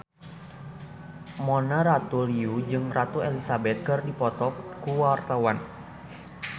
Mona Ratuliu jeung Ratu Elizabeth keur dipoto ku wartawan